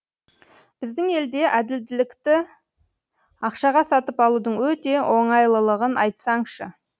біздің елде әділдікті ақшаға сатып алудың өте оңайлылығын айтсаңшы